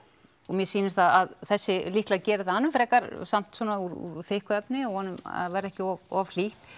mér sýnist að þessi líklega geri það hann er frekar samt svona úr þykku efni og vonum að verði ekki of of hlýtt